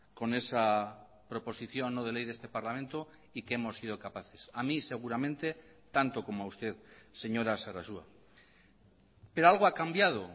con esa proposición no de ley de este parlamento y que hemos sido capaces a mí seguramente tanto como a usted señora sarasua pero algo ha cambiado